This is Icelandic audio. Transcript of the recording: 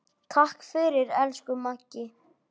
Takk fyrir, elsku Maggi.